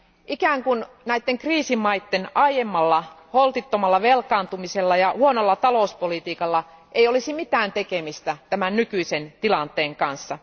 Ikään kuin näiden kriisimaiden aiemmalla, holtittomalla velkaantumisella ja huonolla talouspolitiikalla ei olisi mitään tekemistä tämän nykyisen tilanteen kanssa.